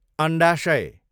अन्डाशय